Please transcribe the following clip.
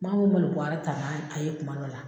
malo bɔɔrɔ ta n'a a ye kuma dɔ la.